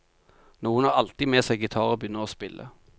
Noen har alltid med seg gitar og begynner å spille.